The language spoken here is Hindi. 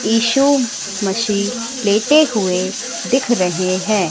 ईसा मसीह लेते हुए दिख रहे हैं।